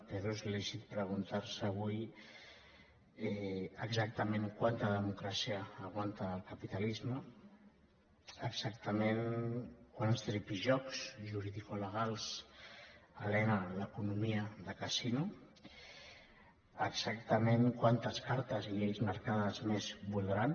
però és lícit preguntar se avui exactament quanta democràcia aguanta el capitalisme exactament quants tripijocs juridicolegals alena l’economia de casino exactament quantes cartes i lleis marcades més voldran